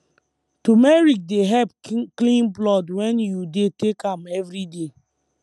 turmeric dey help clean blood wen you dey take am everyday